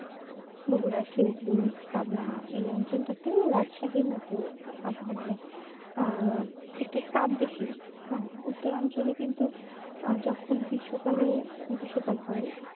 বকুড়া শিল্পী পাবগানা এই অঞ্চলটাতে রাজশাহীর মত আবহাওয়া মানে আহ একটু তাপ বেশি হ্যাঁ উত্তর অঞ্চলে কিন্তু আহ যখন গ্রীষ্মকালে গ্রীষ্মকাল হয়